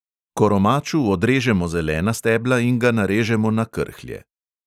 Koromaču odrežemo zelena stebla in ga narežemo na krhlje.